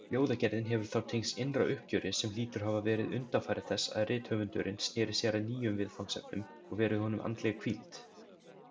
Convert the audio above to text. Ljóðagerðin hefur þá tengst innra uppgjöri, sem hlýtur að hafa verið undanfari þess að rithöfundurinn sneri sér að nýjum viðfangsefnum, og verið honum andleg hvíld.